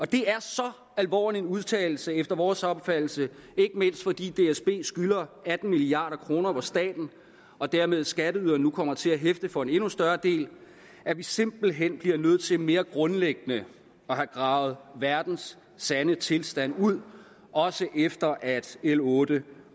det er så alvorlig en udtalelse efter vores opfattelse ikke mindst fordi dsb skylder atten milliard kr hvor staten og dermed skatteyderne nu kommer til at hæfte for en endnu større del at vi simpelt hen bliver nødt til mere grundlæggende at have gravet verdens sande tilstand ud også efter at l otte